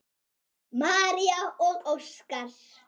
María og Óskar.